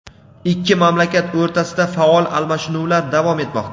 ikki mamlakat o‘rtasida faol almashinuvlar davom etmoqda.